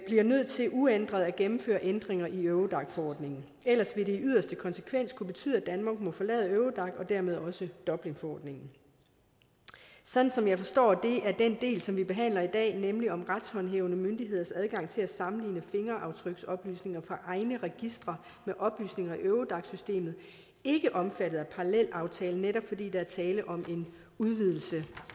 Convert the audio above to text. bliver nødt til uændret at gennemføre ændringer i eurodac forordningen ellers vil det i yderste konsekvens betyde at danmark må forlade eurodac og dermed også dublinforordningen sådan som jeg forstår det er den del som vi behandler i dag nemlig om retshåndhævende myndigheders adgang til at sammenligne fingeraftryksoplysninger fra egne registre med oplysninger i eurodac systemet ikke omfattet af parallelaftalen netop fordi der er tale om en udvidelse